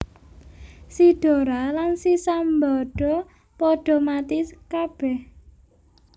Si Dora lan si Sambada padha mati kabèh